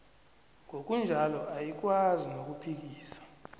ngokunjalo ayikwazi nokuphikisa